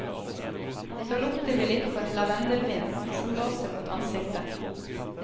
Så lukter vi litt på en lavendelvind som blåser mot ansiktet.